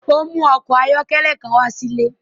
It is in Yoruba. O mu ọkọ ayọkẹlẹ kan wá sí ilé.